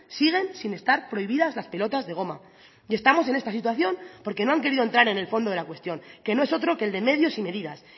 siguen sin estar prohibidas las pelotas de goma y estamos en esta situación porque no han querido entrar en el fondo de la cuestión que no es otro que el de medios y medidas